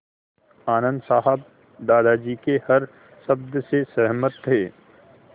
आनन्द साहब दादाजी के हर शब्द से सहमत थे